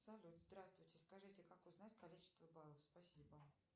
салют здравствуйте скажите как узнать количество баллов спасибо